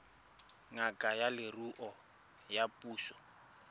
ngaka ya leruo ya puso